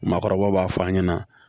Maakɔrɔba b'a fɔ an ɲɛna